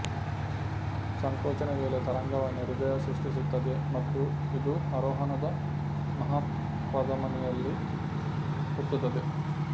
ಸಂಕೋಚನ ವೇಳೆ ತರಂಗವನ್ನು ಹೃದಯ ಸೃಷ್ಟಿಸುತ್ತದೆ ಮತ್ತು ಇದು ಆರೋಹಣದ ಮಹಾಪಧಮನಿಯಲ್ಲಿ ಹುಟ್ಟುತ್ತದೆ